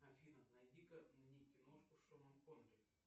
афина найди ка мне киношку с шоном коннери